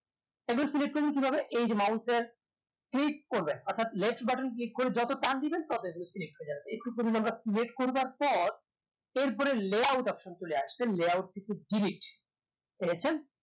তখন select করবেন কি ভাবে এই যে click এর leftbutton করবেন অর্থাৎ select করে যত টান দিবেন তবে layout হয়ে যাবে layout করবার পর এর পরে চলে আসবে থেকে পেরেছে